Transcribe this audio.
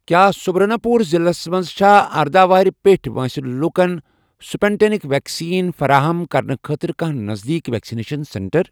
کیٛاہ سُبرنا پوٗر ضلعس مَنٛز چھا ارداہ وُہُر پیٚٹھؠ وٲنٛسہِ لوکَن سٕپُٹنِک ویکسیٖن فراہم کرنہٕ خٲطرٕ کانٛہہ نزدیٖک ویکسِنیشن سینٹر؟